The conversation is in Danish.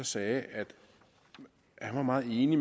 sagde at han var meget enig i